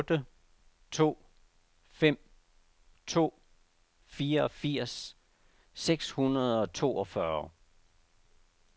otte to fem to fireogfirs seks hundrede og toogfyrre